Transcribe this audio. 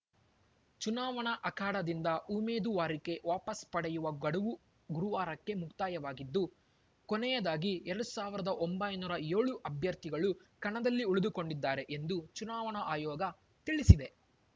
ಚುನಾವಣಾ ಅಖಾಡದಿಂದ ಉಮೇದುವಾರಿಕೆ ವಾಪಸ್‌ ಪಡೆಯುವ ಗಡುವು ಗುರುವಾರಕ್ಕೆ ಮುಕ್ತಾಯವಾಗಿದ್ದು ಕೊನೆಯದಾಗಿ ಎರಡ್ ಸಾವಿರದ ಒಂಬೈನೂರ ಏಳು ಅಭ್ಯರ್ಥಿಗಳು ಕಣದಲ್ಲಿ ಉಳಿದುಕೊಂಡಿದ್ದಾರೆ ಎಂದು ಚುನಾವಣಾ ಆಯೋಗ ತಿಳಿಸಿದೆ